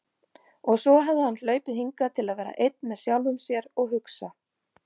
Og svo hafði hann hlaupið hingað til að vera einn með sjálfum sér og hugsa.